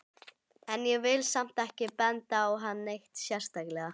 En ég vil samt ekki benda á hann neitt sérstaklega.